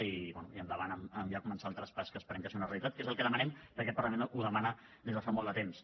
i bé i endavant amb ja començar el traspàs que esperem que sigui una realitat que és el que demanem perquè el parlament ho demana des de fa molt de temps